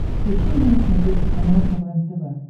включи мне на смотрешке канал квн тв